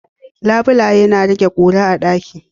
Labulaye na rage ƙura a ɗaki.